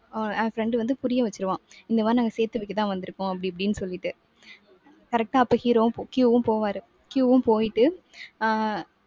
ஓ அஹ் friend வந்து புரிய வச்சிடுவான். இந்த மாதிரி நாங்க சேர்த்து வைக்கதான் வந்திருக்கோம் அப்படி இப்படின்னு சொல்லிட்டு. correct ஆ அப்ப hero வும் Q வும் போவாரு. Q வும் போயிட்டு அஹ்